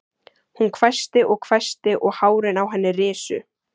Hún hvæsti og hvæsti og hárin á henni risu.